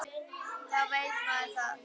Þá veit maður það.